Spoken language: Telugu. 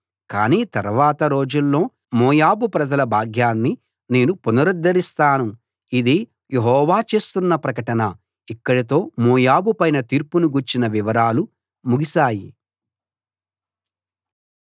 కాని తర్వాత రోజుల్లో మోయాబు ప్రజల భాగ్యాన్ని నేను పునరుద్ధరిస్తాను ఇది యెహోవా చేస్తున్న ప్రకటన ఇక్కడితో మోయాబు పైన తీర్పును గూర్చిన వివరాలు ముగిశాయి